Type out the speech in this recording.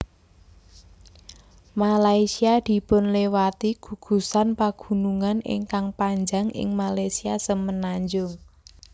Malaysia dipunliwati gugusan pagunungan ingkang panjang ing Malaysia semenanjung